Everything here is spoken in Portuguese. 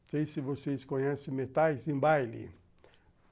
Não sei se vocês conhecem metais em baile.